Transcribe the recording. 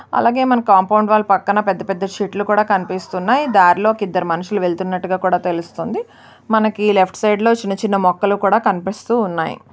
అలాగే మన compound wall పక్కన పెద్ద పెద్ద శెట్లు కూడా కనిపిస్తున్నాయిదారిలో ఒక ఇద్దరు మనుషులు వెళ్తున్నట్టుగా కూడా తెలుస్తుందిమనకి లెఫ్ట్ సైడ్ చిన్న చిన్న మొక్కలు కూడా కనిపిస్తున్నాయి.